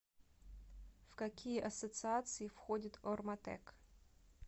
в какие ассоциации входит орматек